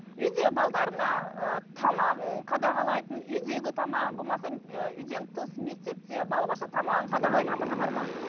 үйде ыыы тамағын қадағалайтын үйдегі тамағын болмаса үйден тыс мектепте балабақшада тамағын қадағалайтын ата ана бар ма